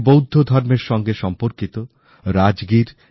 উনি বৌদ্ধ ধর্মের সাথে সম্পর্কিত রাজগীর